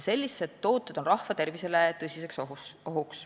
Sellised tooted on tõsine oht rahva tervisele.